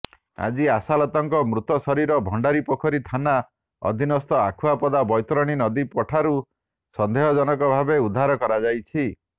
ଆଜି ଆଶାଲତାଙ୍କ ମୃତ ଶରୀର ଭଣ୍ଡାରିପୋଖରୀ ଥାନା ଅଧୀନସ୍ଥ ଆଖୁଆପଦା ବୈତରଣୀ ନଦୀପଠାରୁ ସନ୍ଦେହଜନକ ଭାବେ ଉଦ୍ଧାର କରାଯାଇଛି